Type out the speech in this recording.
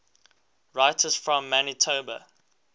writers from manitoba